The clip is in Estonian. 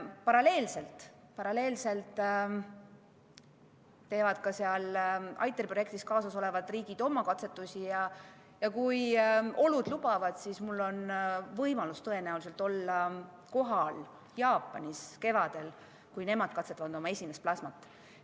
Paralleelselt teevad ITER-i projekti kaasatud riigid oma katsetusi ja kui olud lubavad, siis tõenäoliselt on mul võimalus olla kevadel kohal Jaapanis, kui nemad katsetavad oma esimest plasmat.